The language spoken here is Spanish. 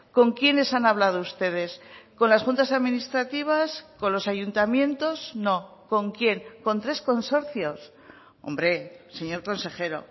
con quiénes han hablado ustedes con las juntas administrativas con los ayuntamientos no con quién con tres consorcios hombre señor consejero